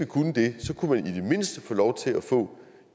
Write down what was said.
kunne det kunne vi i det mindste få lov til at få